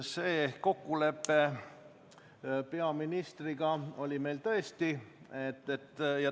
Selline kokkulepe peaministriga oli meil tõesti.